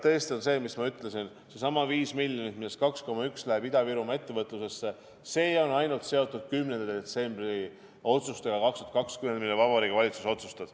Tõesti on nii, mis ma ütlesin, et seesama 5 miljonit, millest 2,1 läheb Ida-Virumaa ettevõtlusesse, on ainult seotud 10. detsembri otsustega 2020, mille Vabariigi Valitsus otsustas.